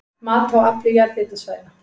Mat á afli jarðhitasvæða